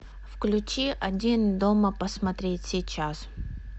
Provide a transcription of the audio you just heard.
включи один дома посмотреть сейчас